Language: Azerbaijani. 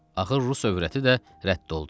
Axır rus övrəti də rədd oldu.